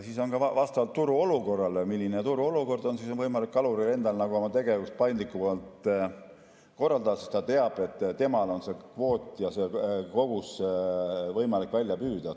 Siis on ka vastavalt sellele, milline turuolukord on, võimalik kaluril oma tegevust paindlikumalt korraldada, sest ta teab, et temal on kvoot ja tal on see kogus võimalik välja püüda.